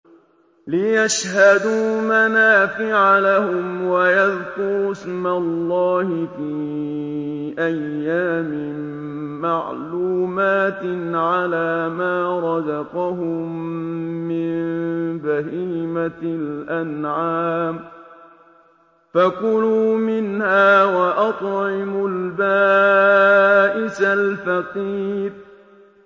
لِّيَشْهَدُوا مَنَافِعَ لَهُمْ وَيَذْكُرُوا اسْمَ اللَّهِ فِي أَيَّامٍ مَّعْلُومَاتٍ عَلَىٰ مَا رَزَقَهُم مِّن بَهِيمَةِ الْأَنْعَامِ ۖ فَكُلُوا مِنْهَا وَأَطْعِمُوا الْبَائِسَ الْفَقِيرَ